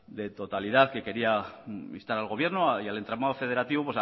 de totalidad que quería instar al gobierno y al entramado federativo